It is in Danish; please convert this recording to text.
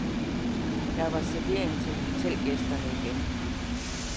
Der var servering til hotelgæsterne igen.